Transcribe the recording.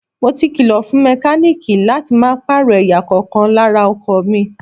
Mo ti kìlọ̀ fún mẹkáníìkì láti máa pààrọ̀ ẹ̀yà kọ̀ọ̀kan lára ọkọ̀ mi.